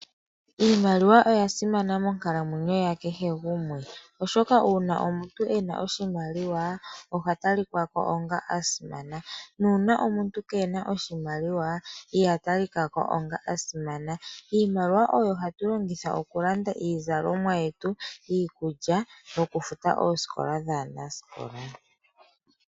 Iimaliwa oyasimana monkalamwenyo yakehe gumwe, oshoka uuna omuntu ena oshimaliwa ohatalikako onga asimana, nuuna omuntu ngele kena oshimaliwa iha talikako onga omuntu asimana. Iimaliwa oyo hatulongitha okulanda iizalomwa yetu, iikulya nokufuta oosikola dhaanasikola.